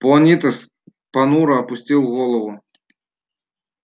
понитес понуро опустил голову